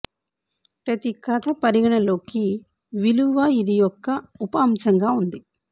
ప్రతి కథ పరిగణనలోకి విలువ ఇది యొక్క ఉప అంశంగా ఉంది